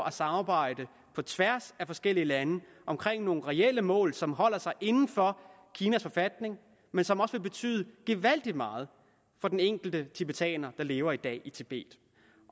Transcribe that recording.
at samarbejde på tværs af forskellige lande omkring nogle reelle mål som holder sig inden for kinas forfatning men som også vil betyde gevaldig meget for den enkelte tibetaner der lever i dag i tibet